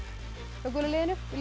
hjá gula liðinu viljið